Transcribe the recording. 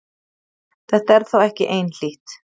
Þetta er þó ekki einhlítt.